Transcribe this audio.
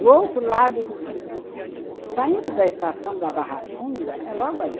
Do outro lado do rio, saindo da estação da Barra Funda, é logo ali.